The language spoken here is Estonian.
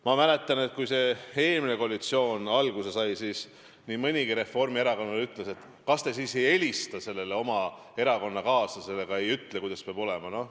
Ma mäletan, et kui eelmine koalitsioon alguse sai, siis nii mõnigi reformierakondlane ütles, et kas te siis ei helista oma erakonnakaaslasele ega ütle, kuidas peab olema.